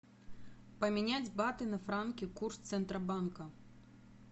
поменять баты на франки курс центробанка